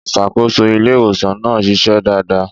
Ìṣàkóso ilé ìwòsàn náà ṣiṣẹ́ dáadáa.